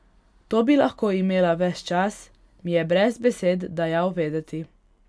To bi lahko imela ves čas, mi je brez besed dajal vedeti.